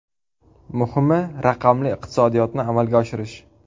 Muhimi, raqamli iqtisodiyotni amalga oshirish.